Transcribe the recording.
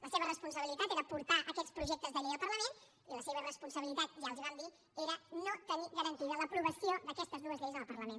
la seva responsabilitat era portar aquests projectes de llei al parlament i la seva irresponsabilitat ja els ho vam dir era no tenir garantida l’aprovació d’aquestes dues lleis en el parlament